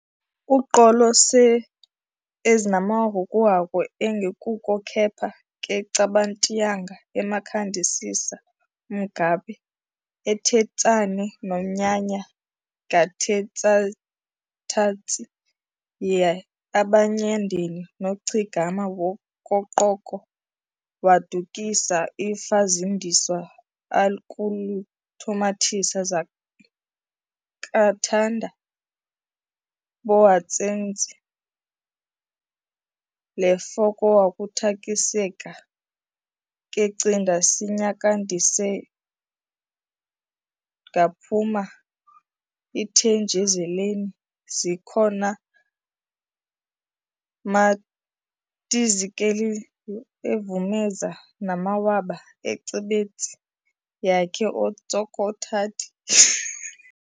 Uqolo seEzinamhokhaku engikokhu kepha keCibant'yanga aMkhandisisa umungabhe, eThetsane nomnyanya ngathitsazitayitshi yeAbamayandeni noChigama wakoqoko waDakusi iFazindiswa akuIthomathise zamakhathanda bohatshenze leFihokuthakhekiseka kecinda s'nkayekisindwele ngaphuma iThetjezelini zihonamatazikilezizitadazini eVumezo namwaba oCibatsit' yake oTsokothadi